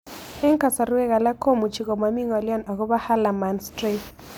Eng' kasarwek alak komuchi komami ng'olyo akopo Hallermann Streiff